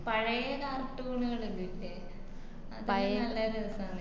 പഴയെ cartoon എല്ലോല്ലേ അതെല്ലാം നല്ലരസാന്ന്